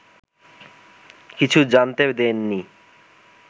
কিছু জানতে দেননি